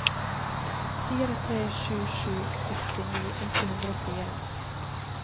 fire tre sju sju sekstini åtte hundre og fire